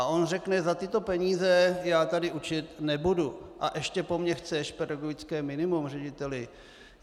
A on řekne, za tyto peníze já tady učit nebudu, a ještě po mně chceš pedagogické minimum, řediteli.